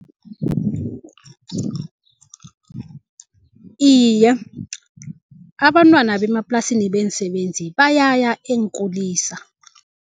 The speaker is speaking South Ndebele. Iye, abantwana bemaplasini beensebenzi bayaya eenkulisa.